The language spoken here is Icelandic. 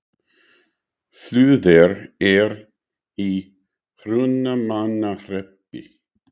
Flúðir er í Hrunamannahreppi.